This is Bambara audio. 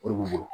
O de b'u bolo